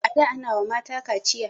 a da Ana wa mata kaciya